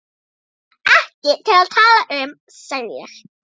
Ekki til að tala um, sagði ég.